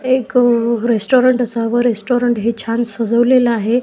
एक रेस्टोरंट असावं रेस्टोरंट हे छान सजवलेल आहे.